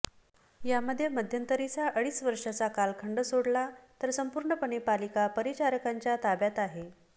यामधे मध्यंतरींचा अडीच वर्षाचा कालखंड सोडला तर संपूर्णपणे पालिका परिचाकांच्या ताब्यात आहे